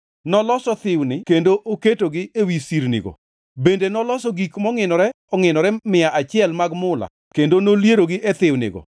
Noloso thiwni kendo oketogi ewi sirnigo. Bende noloso gik mongʼinore ongʼinore mia achiel mag mula kendo nolierogi e thiwnigo.